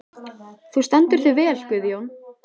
Þú stendur þig vel, Guðjón!